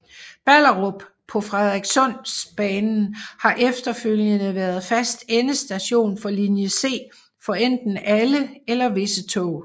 Ballerup på Frederikssundsbanen har efterfølgende været fast endestation for linje C for enten alle eller visse tog